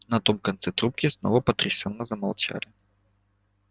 на том конце трубки снова потрясённо замолчали